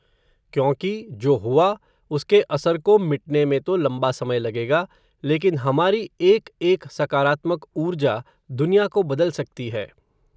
क्योंकि, जो हुवा, उसके असर को मिटने में तो लंबा समय लगेगा, लेकिन हमारी एक एक सकारात्मक ऊर्जा, दुनिया को बदल सकती है